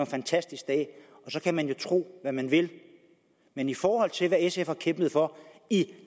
fantastisk dag så kan man jo tro hvad man vil men i forhold til hvad sf har kæmpet for i